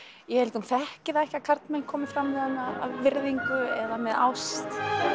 ég held að hún þekki það ekki að karlmenn komi fram við hana af virðngu eða með ást